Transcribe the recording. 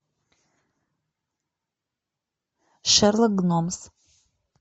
шерлок гномс